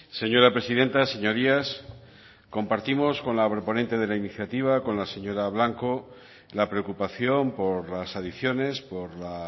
señora presidenta señorías compartimos con la proponente de la iniciativa con la señora blanco la preocupación por las adicciones por la